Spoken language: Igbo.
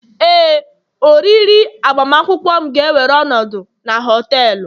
Éè, oriri agbamakwụkwọ m ga-ewere ọnọdụ na họtelu